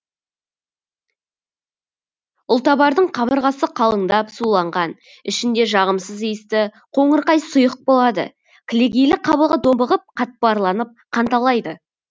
ұлтабардың қабырғасы қалыңдап суланған ішінде жағымсыз иісті қоңырқай сұйық болады кілегейлі қабығы домбығып қатпарланып қанталайды